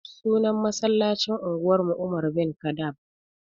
Sunan masallacin unguwar mu umar bin kaɗab